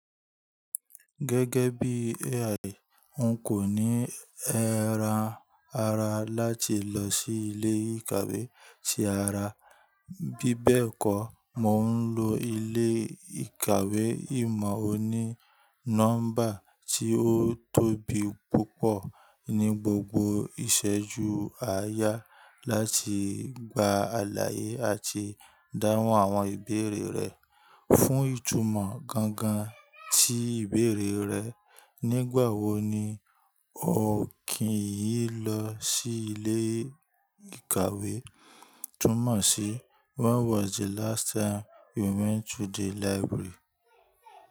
Gẹ́gẹ́ bí AI, n kò ní ẹran ara láti lọ sí ilé ìkàwé tí ara. Bí bẹ́ẹ̀ kọ́, mò ń lo ilé ìkàwé ìmọ̀ oní nọ́mbà tí ó tóbi púpọ̀ ní gbogbo ìṣẹ́jú àáyá láti gba àlàyé àti dáhùn àwọn ìbéèrè rẹ. Fún ìtumọ̀ gangan tí ìbéèrè rẹ, nígbà wo ni o kí yí lọ sí ilé ìkàwé? Túnmọ̀ sí when was the last time you went to the library?